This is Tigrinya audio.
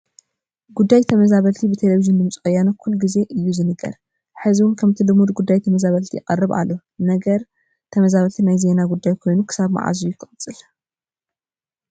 ጉዳይ ተመዛመበልቲ ብቴለብዥን ድምፂ ወያነ ኩሉ ግዜ እዩ ዝንገር፡፡ ሕዝውን ከምቲ ልሙድ ጉዳይ ተመዛበልቲ ይቐርብ ኣሎ፡፡ ነገር ተመዛበልቲ ናይ ዜና ጉዳይ ኮይኑ ክሳብ መዓዝ እዩ ክቕፅል?